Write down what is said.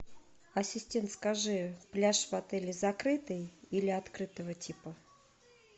ассистент скажи пляж в отеле закрытый или открытого типа